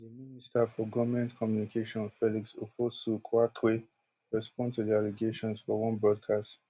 di minister for goment communication felix ofosu kwakye respond to di allegations for one broadcast